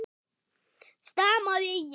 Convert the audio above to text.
stamaði ég.